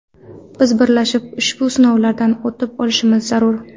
Biz birlashib, ushbu sinovlardan o‘tib olishimiz zarur.